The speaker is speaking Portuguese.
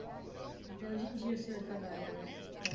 Até hoje em dia o senhor trabalha, né?